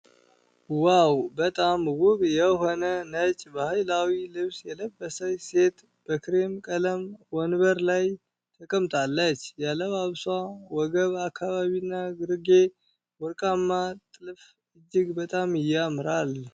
ዋው! በጣም ውብ የሆነ ነጭ ባህላዊ ልብስ የለበሰች ሴት በክሬም ቀለም ወንበር ላይ ተቀምጣለች። የአለባበሷ ወገብ አካባቢና ግርጌ ወርቃማ ጥልፍ እጅግ በጣም ያምራል!